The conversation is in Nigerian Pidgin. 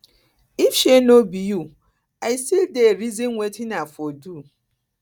if um no be you i um still dey reason wetin i for do